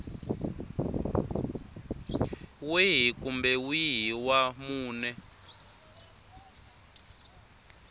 wihi kumbe wihi wa mune